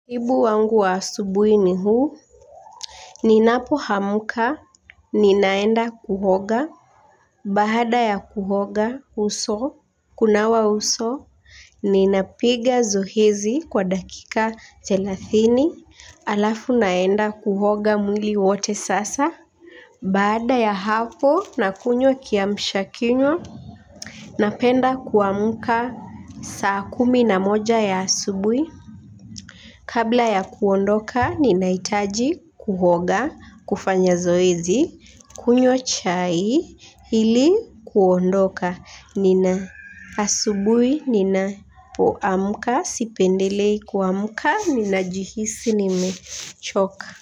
Ibu wangu wa asubui ni huu. Ninapo amka ninaenda kuhoga. Bahada ya kuhoga uso. Kunawa uso. Ninapiga zohezi kwa dakika thelathini alafu naenda kuhoga mwili wote sasa. Bahada ya hapo nakunywa kiamsha kinywa. Napenda kuamuka saa kumi na moja ya asubui. Kabla ya kuondoka ninaitaji kuhoga kufanya zoezi kunywa chai hili kuondoka nina asubui nina poamuka sipendelei kuamuka nina jihisi nime choka.